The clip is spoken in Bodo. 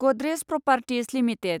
Godrej properties limited